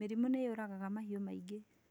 Mĩrimũ nĩ yũragaga mahiũ maingĩ